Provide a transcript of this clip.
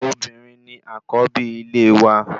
Obìnrin ni àkọ́bí ilé wa